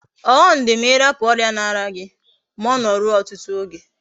Oghom di ma irapu oria na aria gi, ma Ono rue otutu oge